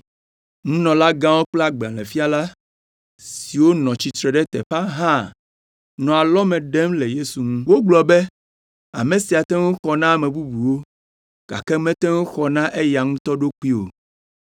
Nunɔlagãwo kple agbalẽfiala siwo nɔ tsitre ɖe teƒea hã nɔ alɔme ɖem le Yesu ŋu. Wogblɔ be, “Ame sia te ŋu xɔ na ame bubuwo, gake mate ŋu xɔ na eya ŋutɔ ɖokui o!